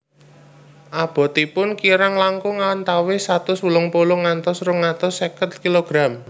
Abotipun kirang langkung antawis satus wolung puluh ngantos rong atus seket kilogram